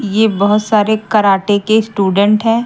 ये बहुत सारे कराटे के स्टूडेंट हैं।